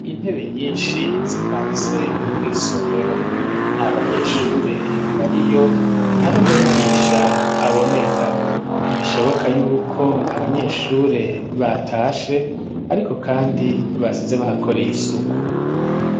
Intebe nyinshi zipanze mw'isomero nta banyeshure bariyo nta n'umuyigisha aboneka bishoboka yuko abanyeshure batashe ariko kandi basize bahakoreye isuku.